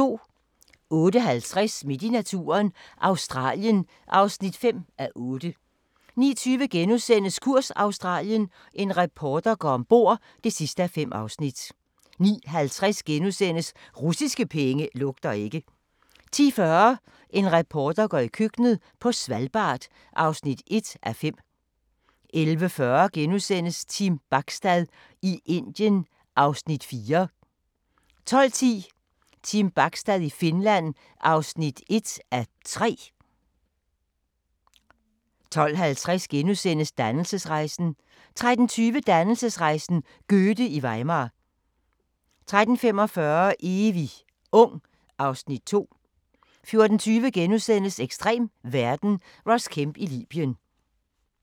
08:50: Midt i naturen – Australien (5:8) 09:20: Kurs Australien – en reporter går ombord (5:5)* 09:50: Russiske penge lugter ikke * 10:40: En reporter går i køkkenet – på Svalbard (1:5) 11:40: Team Bachstad i Indien (Afs. 4)* 12:10: Team Bachstad i Finland (1:3) 12:50: Dannelsesrejsen * 13:20: Dannelsesrejsen - Goethe i Weimar 13:45: Evig ung (Afs. 2) 14:20: Ekstrem verden – Ross Kemp i Libyen *